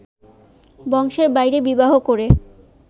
বংশের বাইরে বিবাহ করে